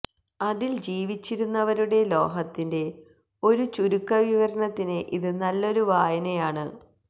അതിൽ ജീവിച്ചിരുന്നവരുടെ ലോഹത്തിന്റെ ഒരു ചുരുക്കവിവരണത്തിന് ഇത് നല്ലൊരു വായനയാണ്